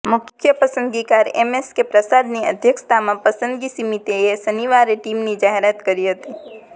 મુખ્ય પસંદગીકાર એમએસકે પ્રસાદની અધ્યક્ષતામાં પસંદગી સમિતિએ શનિવારે ટીમની જાહેરાત કરી હતી